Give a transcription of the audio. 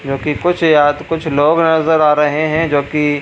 क्योंकि कुछ यात कुछ लोग नजर आ रहे हैं जो कि --